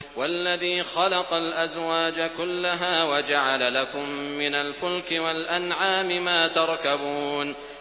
وَالَّذِي خَلَقَ الْأَزْوَاجَ كُلَّهَا وَجَعَلَ لَكُم مِّنَ الْفُلْكِ وَالْأَنْعَامِ مَا تَرْكَبُونَ